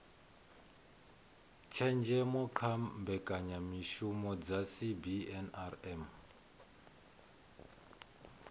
tshenzhemo kha mbekanyamishumo dza cbnrm